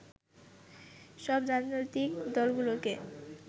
সব রাজনৈতিক দলগুলোকে